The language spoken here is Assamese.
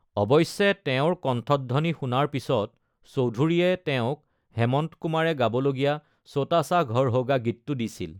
অৱশ্যে তেওঁৰ কণ্ঠধ্বনি শুনাৰ পিছত চৌধুৰীয়ে তেওঁক হেমন্ত কুমাৰে গাবলগীয়া ছোটা সা ঘৰ হোগা গীতটো দিছিল।